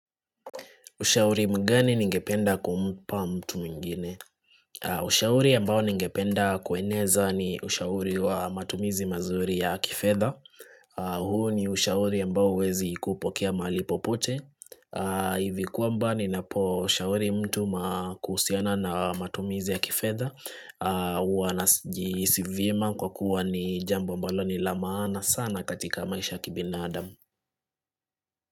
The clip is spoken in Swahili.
Ushauri mgani ningependa kumpa mtu mwingine. Ushauri ambao ningependa kueneza ni ushauri wa matumizi mazuri ya kifedha. Huo ni ushauri ambao huwezi kupokea mahali popote. Hivi kwamba ninaposhauri mtu kuhusiana na matumizi ya kifedha. Huwa najihisi vyema kwa kuwa ni jambo ambalo ni la maana sana katika maisha ya kibinadam.